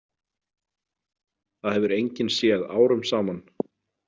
Það hefur enginn séð árum saman.